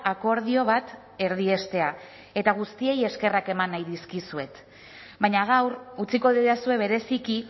akordio bat erdiestea eta guztiei eskerrak eman nahi dizkizuet baina gaur utziko didazue bereziki